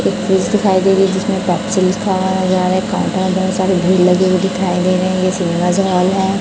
एक फ्रिज दिखाई दे रही है जिसमें भीड़ लगी हुई दिखाई दे रही हैं हैं।